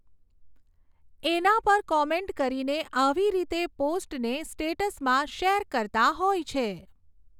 એના પર કૉમેન્ટ કરીને આવી રીતે પોસ્ટને સ્ટેટ્સમાં શૅર કરતાં હોય છે